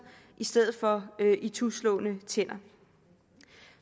i stedet for ituslåede tænder